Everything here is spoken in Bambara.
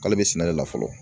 K'ale bɛ sɛnɛ de la fɔlɔ